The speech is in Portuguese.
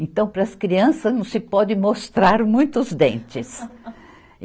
Então, para as crianças não se pode mostrar muito os dentes.